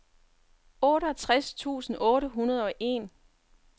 otteogtres tusind otte hundrede og en